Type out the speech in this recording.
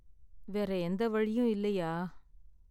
வேற எந்த வழியும் இல்லயா?